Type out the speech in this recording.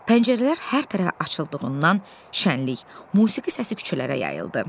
Pəncərələr hər tərəfə açıldığından şənlik, musiqi səsi küçələrə yayıldı.